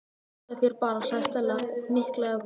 Hugsaðu þér bara- sagði Stella og hnyklaði brýnnar.